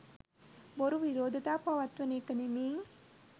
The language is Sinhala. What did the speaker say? බොරු විරෝධතා පවත්වන එක නෙමෙයි.